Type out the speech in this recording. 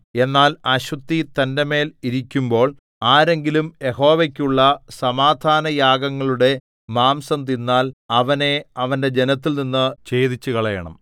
എന്നാൽ അശുദ്ധി തന്റെമേൽ ഇരിക്കുമ്പോൾ ആരെങ്കിലും യഹോവയ്ക്കുള്ള സമാധാനയാഗങ്ങളുടെ മാംസം തിന്നാൽ അവനെ അവന്റെ ജനത്തിൽനിന്നു ഛേദിച്ചുകളയണം